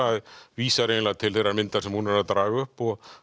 vísar eiginlega til þeirrar myndar sem hún er að draga upp og